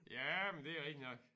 Ja men det er rigtig nok